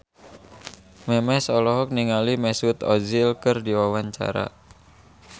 Memes olohok ningali Mesut Ozil keur diwawancara